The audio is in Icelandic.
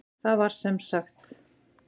Það sem sagt var